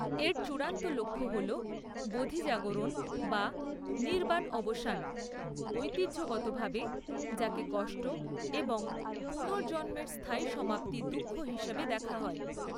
এর চূড়ান্ত লক্ষ্য হল বোধি জাগরণ বা নির্বাণ অবসান, ঐতিহ্যগতভাবে যাকে কষ্ট এবং পুনর্জন্মের স্থায়ী সমাপ্তি দুঃখ হিসাবে দেখা হয়।